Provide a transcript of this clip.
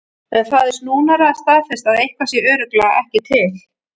En það er snúnara að staðfesta að eitthvað sé örugglega ekki til.